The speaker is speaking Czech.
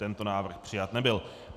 Tento návrh přijat nebyl.